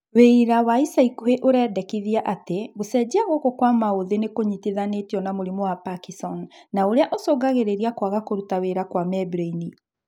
Wĩira wa ica ikũhĩ ũrendekithia atĩ gũcenjia gũkũ kwa maũthĩ nĩkũnyitithanĩtio na mũrimũ wa Parkison na ũrĩa ũcũngagĩrĩria kwaga kũruta wĩra kwa membraini